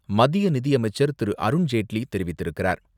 மத்திய நிதியமைச்சர் திரு. அருண்ஜேட்லி தெரிவித்திருக்கிறார்.